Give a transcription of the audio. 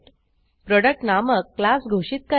product नामक class घोषित करा